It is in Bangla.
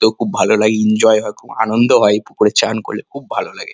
তো খুব ভালো লাগে এনজয় হয় খুব আনন্দ হয় এই পুকুরে চান করলে খুব ভালো লাগে।